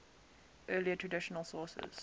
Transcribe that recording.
earlier traditional sources